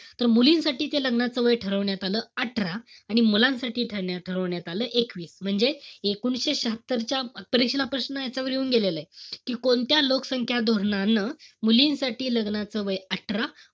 तर मुलींसाठी ते लग्नाचं वय ठरवण्यात आलं अठरा. आणि मुलांसाठी ठेवण्यात~ ठरवण्यात आलं एकवीस. म्हणजे, एकोणीशे शहात्तरच्या परीक्षेला प्रश्न याच्यावरून येऊन गेलेलाय. कि कोणत्या लोकसंख्या धोरणानं मुलींसाठी लग्नाचं वय अठरा,